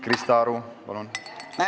Krista Aru, palun!